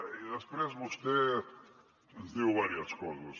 i després vostè ens diu diverses coses